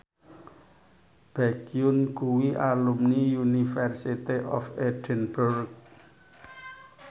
Baekhyun kuwi alumni University of Edinburgh